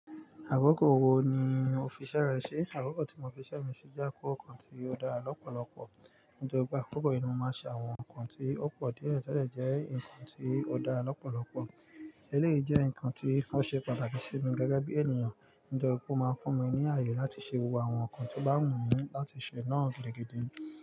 Akoko wo ni o fi ise rẹ si? Akoko tí mo fi ise mi si jẹ́ akoko kan tí o dára lọ́pọ̀lọpọ̀. Nítorí pé àkókò yìí ni mo máa ń ṣe àwọn nǹkan tí ó pọ̀ díẹ̀, to de jẹ́ nkan tí ó dára lọ́pọ̀lọpọ̀. Eléyìí jẹ́ nǹkan tí ó ṣe pàtàkì sí mi gẹ́gẹ́ bí ènìyàn, nítorí pé ó má ń fún mi ní àayè láti ṣe gbogbo àwọn nkan tí ó bá wù mí láti ṣe náà gidigidi.